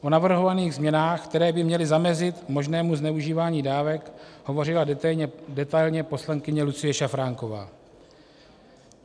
O navrhovaných změnách, které by měly zamezit možnému zneužívání dávek, hovořila detailně poslankyně Lucie Šafránková.